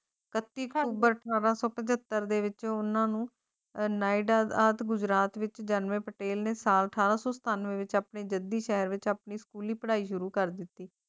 ਕੱਤੇ member ਖਾਣਾ computer ਦੇ ਵਿਚ ਉਨ੍ਹਾਂ ਨੂੰ ਇੰਡੀਅਨ ਆਈਡਲ ਆਦਿ ਗੁਜਰਾਤ ਵਿੱਚ ਭਿਆਨਕ ਤਿੰਨ ਸਾਲ ਤੱਕ ਅੰਮ੍ਰਿਤਾ ਪ੍ਰੀਤਮ ਦੀ ਕਵਿਤਾ ਪੜ੍ਹਾਈ ਸ਼ੁਰੂ ਕਰ ਦਿੱਤੀ